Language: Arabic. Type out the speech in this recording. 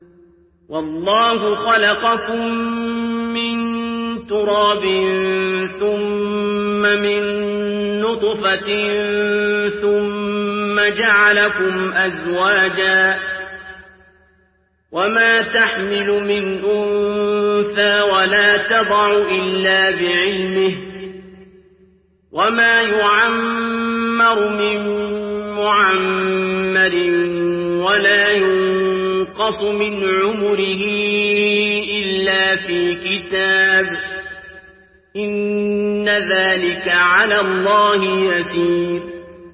وَاللَّهُ خَلَقَكُم مِّن تُرَابٍ ثُمَّ مِن نُّطْفَةٍ ثُمَّ جَعَلَكُمْ أَزْوَاجًا ۚ وَمَا تَحْمِلُ مِنْ أُنثَىٰ وَلَا تَضَعُ إِلَّا بِعِلْمِهِ ۚ وَمَا يُعَمَّرُ مِن مُّعَمَّرٍ وَلَا يُنقَصُ مِنْ عُمُرِهِ إِلَّا فِي كِتَابٍ ۚ إِنَّ ذَٰلِكَ عَلَى اللَّهِ يَسِيرٌ